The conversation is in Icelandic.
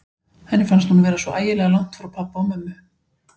Henni fannst hún vera svo ægilega langt frá pabba og mömmu.